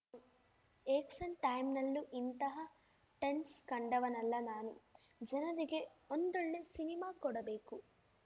ಎಕ್ಸೆನ್ ಟೈಮ್‌ನಲ್ಲೂ ಇಂತಹ ಟೆನ್ಸ್ ಕಂಡವನಲ್ಲ ನಾನು ಜನರಿಗೆ ಒಂದೊಳ್ಳೆ ಸಿನಿಮಾ ಕೊಡಬೇಕು